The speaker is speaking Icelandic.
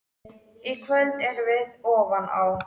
Í kvöld erum við ofan á.